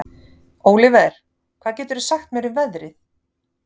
Óliver, hvað geturðu sagt mér um veðrið?